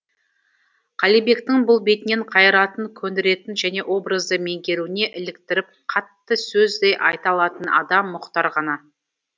қалибектің бұл бетінен қайыратын көндіретін және образды меңгеруіне іліктіріп қатты сөз де айта алатын адам мұхтар ғана